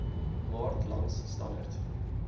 maart langs st